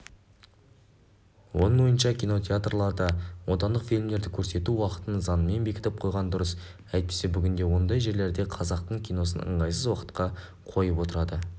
оның ойынша кинотеатрларда отандық фильмдерді көрсету уақытын заңмен бекітіп қойған дұрыс әйтпесе бүгінде ондай жерлерде қазақтың киносын ыңғайсыз уақытқа қойып отырады